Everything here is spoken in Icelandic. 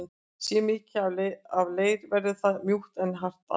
Sé mikið af leir verður það mjúkt en hart annars.